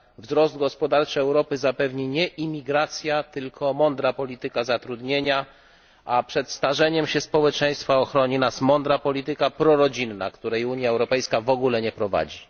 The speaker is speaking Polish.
Wzrost gospodarczy Europy zapewni nie imigracja, tylko mądra polityka zatrudnienia, a przed starzeniem się społeczeństwa ochroni nas mądra polityka prorodzinna, której Unia Europejska w ogóle nie prowadzi.